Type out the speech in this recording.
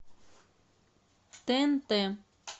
тнт